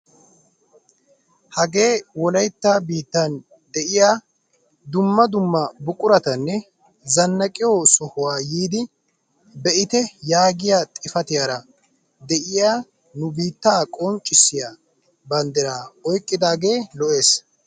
Hagee wolaytta biittan de'iyaa dumma dumma buquratanne zannaqiyoo sohuwaa yiidi be'ite yaagiyaa xifatiyaara de'iyaa nu biittaa qonccisiyaa banddiraa oyqqidage lo"ees!